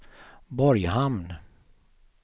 Borghamn